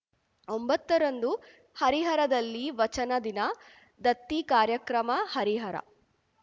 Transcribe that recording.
ಒಂಬತ್ತ ರಂದು ಹರಿಹರದಲ್ಲಿ ವಚನ ದಿನ ದತ್ತಿ ಕಾರ್ಯಕ್ರಮ ಹರಿಹರ